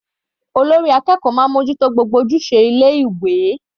Olórí ilé ẹ̀kọ́ máa mú ojú tó gbogbo ojúṣe ilé ìwé.